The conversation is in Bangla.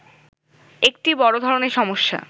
একটি বড় ধরনের সমস্যা